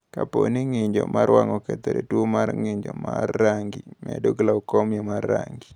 Kapo ni ng’injo mar wang’ okethore, tuwo mar ng’injo mar rangi bedo glaukoma mar rangi.